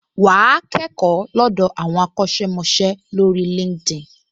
Wà á kẹ́kọ̀ọ́ lọ́dọ̀ àwọn akọ́ṣẹ́mọṣẹ́ lórí LinkedIn